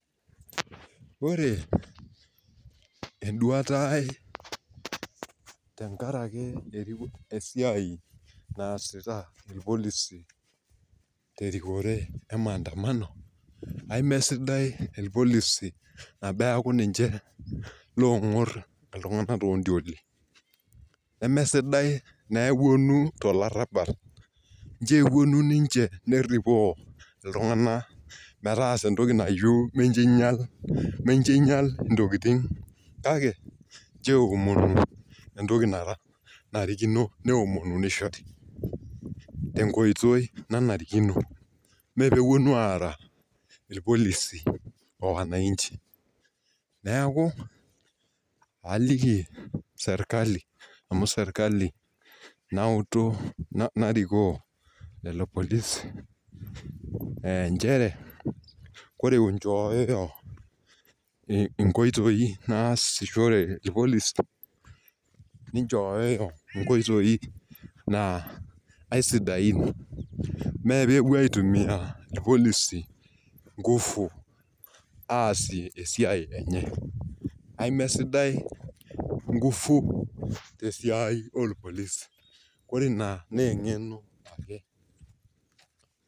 ore eduata ai tekaraki esiai naasita ilpolosi, terikore emaanadamano, emesidai ilpolisi teneeku niche loong'or iltunganak too intioli, nemesidai tenepuonu tolarabal ningial intokitin, kake ichoo eomonu intokitin naayieu nishori, tenkoitoi nanarikino mee pee epuonu ara o wanachi, neeku aliki serikali amu ninye nautu, narikoo lelopolisi nchere ore inchoyoyo inkotoi nasishore ilpolisi nishori inkoitoi sidain, me pee epuo aitumiya inkufu ore ina naa eng'eno ake.